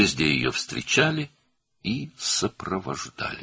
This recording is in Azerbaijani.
Hər yerdə onu qarşıladılar və müşayiət etdilər.